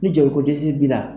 Ni joli ko dɛsɛ b'i la.